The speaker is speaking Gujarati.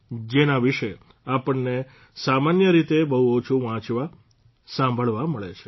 જેના વિશે આપણને સામાન્ય રીતે બહુ ઓછું વાંચવા સાંભળવા મળે છે